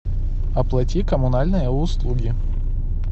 оплати коммунальные услуги